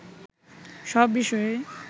সব বিষয়েই